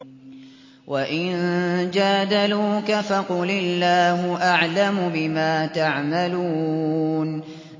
وَإِن جَادَلُوكَ فَقُلِ اللَّهُ أَعْلَمُ بِمَا تَعْمَلُونَ